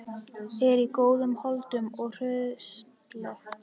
Er í góðum holdum og hraustleg.